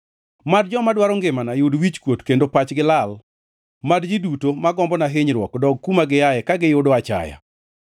Mad joma dwaro ngimana yud wichkuot kendo pachgi lal; mad ji duto ma gombona hinyruok dog kuma giaye ka giyudo achaya.